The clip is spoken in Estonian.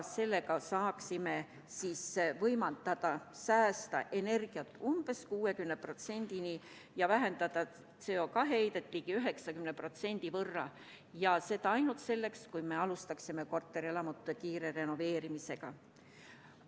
Sellega saaksime säästa energiat umbes 60% tasemeni ja vähendada CO2 heidet ligi 90%, seda ainult siis, kui me alustaksime kiiresti korterelamute renoveerimisega.